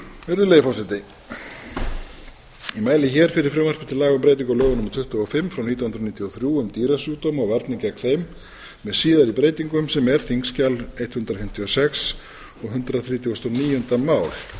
virðulegi forseti ég mæli hér fyrir frumvarpi til laga um breytingu á lögum númer tuttugu og fimm frá nítján hundruð níutíu og þrjú um dýrasjúkdóma og varnir gegn þeim með síðari breytingum sem er þingskjal hundrað fimmtíu og sex og hundrað þrítugasta og níunda mál